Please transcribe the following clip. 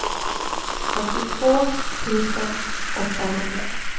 åttiotvå tusen åttahundra